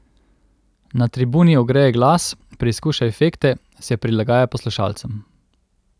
Na tribuni ogreje glas, preizkuša efekte, se prilagaja poslušalcem.